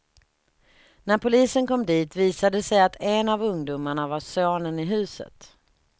När polisen kom dit visade det sig att en av ungdomarna var sonen i huset.